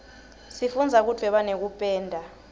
sifundza kudvweba nekupenda